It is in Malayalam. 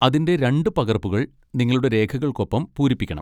അതിന്റെ രണ്ട് പകർപ്പുകൾ നിങ്ങളുടെ രേഖകൾക്കൊപ്പം പൂരിപ്പിക്കണം.